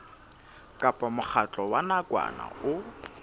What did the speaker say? kapa mokgatlo wa nakwana o